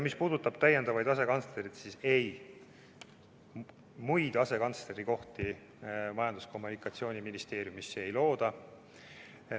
Mis puudutab täiendavaid asekantslereid, siis ei, muid asekantslerikohti Majandus- ja Kommunikatsiooniministeeriumisse ei looda.